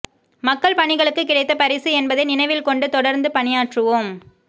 மக்கள் பணிகளுக்கு கிடைத்த பரிசு என்பதை நினைவில் கொண்டு தொடர்ந்து பணியாற்றுவோம்